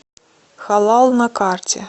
халал на карте